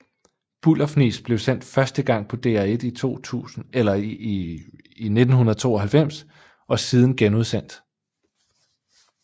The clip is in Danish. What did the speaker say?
Bullerfnis blev sendt første gang på DR1 i 1992 og siden genudsendt